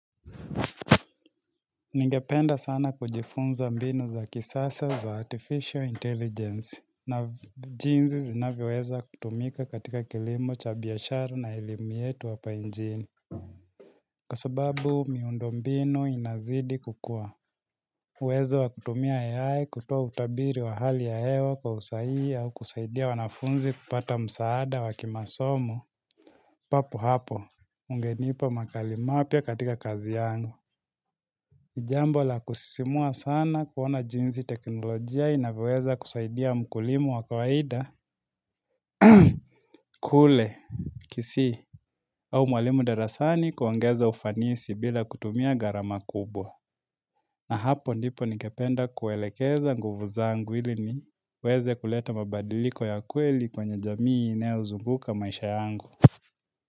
Ningependa sana kujifunza mbinuu za kisasa za artificial intelligence. Na jinsi zinaviweza kutumika katika kilimu cha bishara na elimu yetu hapa inchini. Kwa sababu miundombinu inazidi kukua. Uwezo wa kutumia Ai kutoa utabiri wa hali hewa kwa usaii au kusaidia wanafunzi kupata msaada wakimasomo. Papo hapo, ungenipo makalimapia katika kazi yangu. Nijambo la kusisimua sana kuona jinsi teknolojia inavyoweza kusaidia mkulimu wakawaida kule, kisii, au mwalimu darasani kuongeza ufanisi bila kutumia gharama kubwa na hapo ndipo ningependa kuwelekeza nguvu zangu ili ni weze kuleta mabadiliko ya kweli kwenye jamii inayozunguka maisha yangu.